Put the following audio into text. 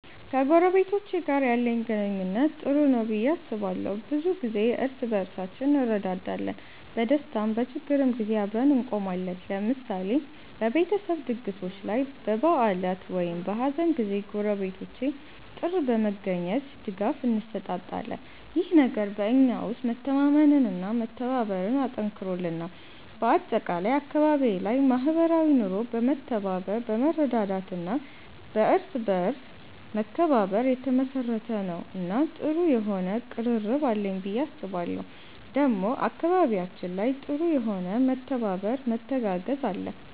ከጎረቤቶቼ ጋር ያለኝ ግንኙነት ጥሩ ነው ብዬ አስባለሁ። ብዙ ጊዜ እርስ በርሳችን እንረዳዳለን፣ በደስታም በችግርም ጊዜ አብረን እንቆማለን። ለምሳሌ በቤተሰብ ድግሶች ላይ፣ በበዓላት ወይም በሀዘን ጊዜ ጎረቤቶቼ ጥር በመገኘት ድጋፍ እንሰጣጣለን። ይህ ነገር በእኛ ውስጥ መተማመንና መተባበርን አጠንክሮልናል። በአጠቃላይ አካባቢዬ ላይ ማህበራዊ ኑሮ በመተባበር፣ በመረዳዳት እና በእርስ በርስ መከባበር የተመሰረተ ነው እና ጥሩ የሆነ ቅርርብ አለኝ ብዬ አስባለሁ ዴሞ አካባቢያችን ላይ ጥሩ የሆነ መተባበር መተጋገዝ አለ።